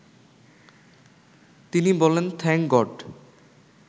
তিনি বললেন thank god